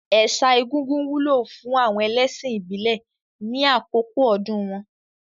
Ẹ̀sà egúngún wúlò fún àwọn ẹlẹ́ṣìn ìbílẹ̀ ní àkókò ọdún wọn.